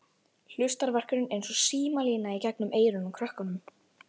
Hlustarverkurinn eins og símalína í gegnum eyrun á krökkunum.